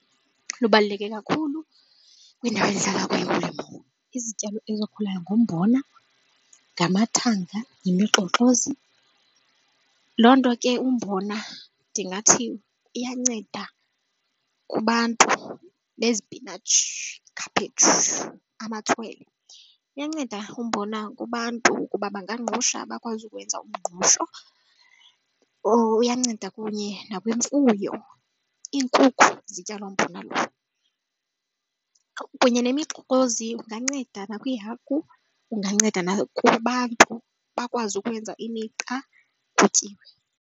Lubaluleke kakhulu kwindawo endihlala kuyo ulimo. Izityalo ezikhulayo ngumbona, ngamathanga nemixoxozi. Loo nto ke umbona ndingathi iyanceda kubantu nezipinatshi, ikhaphetshu, amatswele. Uyanceda umbona kubantu ukuba bangangqusha bakwazi ukwenza umngqusho or uyanceda kunye nakwimfuyo. Iinkukhu zitya loo mbona lowo. Kunye nemixoxozi inganceda nakwiihagu unganceda nakwabantu bakwazi ukwenza imiqa, kutyiwe.